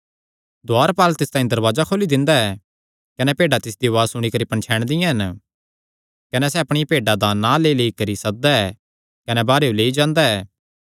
दुआरपाल तिस तांई दरवाजे खोली दिंदा ऐ कने भेड्डां तिसदी उआज़ सुणी करी पणछैणदियां हन कने सैह़ अपणियां भेड्डां दा नां लेईलेई करी सददा ऐ कने बाहरेयो लेई जांदा ऐ